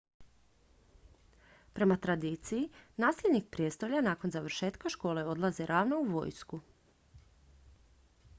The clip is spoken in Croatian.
prema tradiciji nasljednik prijestolja nakon završetka škole odlazi ravno u vojsku